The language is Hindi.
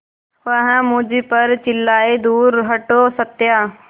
वह मुझ पर चिल्लाए दूर हटो सत्या